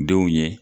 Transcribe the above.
Denw ɲɛ